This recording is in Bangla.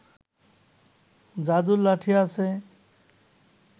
যাদুর লাঠি আছে